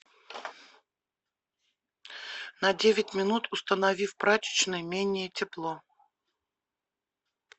на девять минут установи в прачечной менее тепло